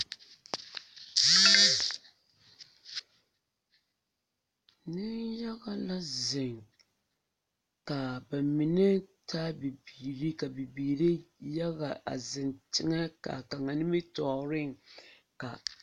Niŋ yaga la ziŋ ka ba mine taa bibiiri ka bibiiri yaga a ziŋ teŋɛ ka ba nimitɔɔriŋ ka